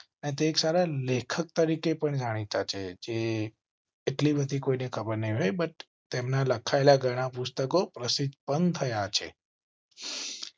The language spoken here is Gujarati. તે એક સારા લેખક તરીકે પણ જાણીતા છે. જે. એટલી બધી કોઈ ને ખબર નઈ but તેમના લખાયેલા ઘણા પુસ્તકો પ્રસિદ્ધ પણ થયા છે.